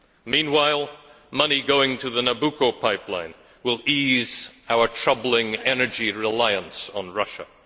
Meanwhile, money going to the Nabucco pipeline will ease our troubling energy reliance on Russia.